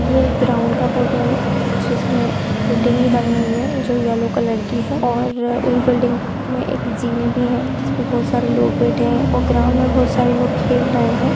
ये एक ग्राउन्ड का फोटो है जिसमे एक बिल्डिंग भी बनी हुई है जो येलो कलर की है और उस बिल्डिंग मे एक जिने भी है जिसमे बहुत सारे लोग बैठे है और ग्राउन्ड मे बहुत सारे लोग खेल रहे है।